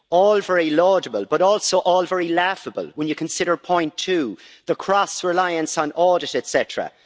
All very laudable, but also all very laughable, when you consider point two the cross reliance on audit, etcetera.